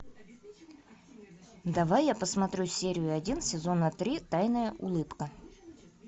давай я посмотрю серию один сезона три тайная улыбка